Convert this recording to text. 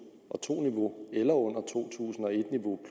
og to niveau eller under to tusind og et niveau